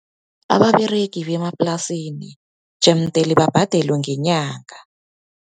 Ababeregi bemaplasini, jemdele babhadelwe ngenyanga.